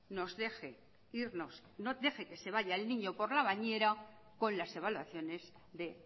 nos deje irnos deje que se vaya el niño por la bañera con las evaluaciones de